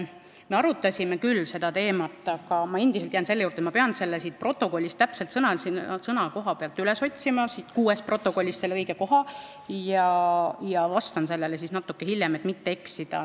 Me arutasime küll seda teemat, aga ma jään endiselt selle juurde, et ma pean täpsed sõnad, selle õige koha nendest kuuest protokollist üles otsima, ja vastan natuke hiljem, et mitte eksida.